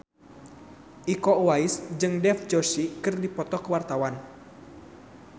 Iko Uwais jeung Dev Joshi keur dipoto ku wartawan